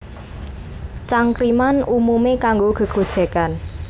Cangkriman umumé kanggo gégojégan